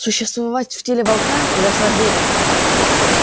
существовать в теле волка куда сложнее